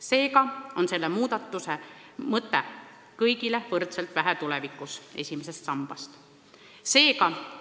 Seega on plaanitud muudatuse mõte: tulevikus esimesest sambast kõigile võrdselt vähe.